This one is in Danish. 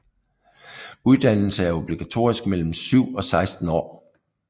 Uddannelse er obligatorisk mellem 7 og 16 år